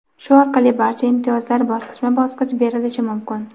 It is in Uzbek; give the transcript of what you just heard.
shu orqali barcha imtiyozlar bosqichma-bosqich berilishi mumkin.